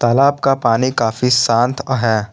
तालाब का पानी काफी शांत है।